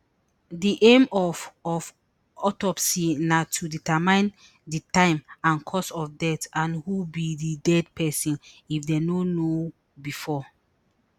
di aim of of autopsy na to determine di time and cause of death and who be di dead pesin if dem no know bifor